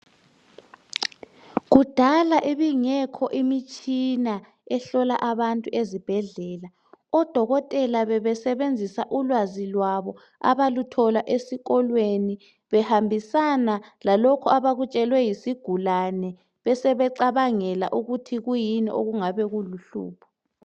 Kudala bingekho imitshina ehlola abantu ezibhedlela. Odokotela bebesebenzisa ulwazi lwabo abaluthola esikolo behambisana lalokho abakutshelwe yisigulane besebecabangela ukuthi kuyini okungaba luhlupho.